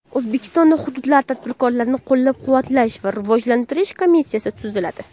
O‘zbekistonda hududlarda tadbirkorlikni qo‘llab-quvvatlash va rivojlantirish komissiyasi tuziladi.